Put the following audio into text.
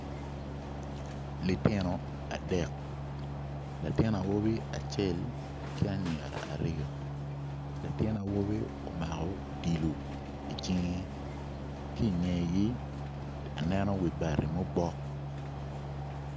Litino adek latin awobi acel ki anyira aryo latin awobi omako odilo i cinge ki i ngegi aneno wibati mubok.